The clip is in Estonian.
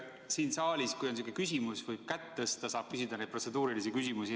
Siin saalis, kui teil on sihuke küsimus, hea kolleeg, võib kätt tõsta ja saab küsida protseduurilise küsimuse.